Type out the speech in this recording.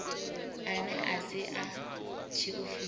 ane a si a tshiofisi